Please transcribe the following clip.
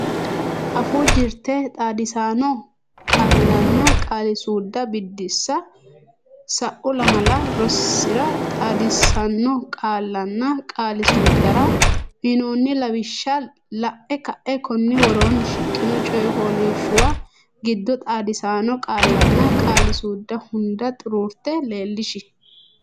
Afuu Jirte Xaadisaano Qaallanna Qaali suudda Biddissa Sa’u lamala rosira xaadisaano qaallanna qaali suuddara uynoonni lawishsha la’e ka’e konni woroonni shiqqino coy fooliishshuwa giddo xaadisaano qaallanna qaali suudda hunda xuruurte leellishi.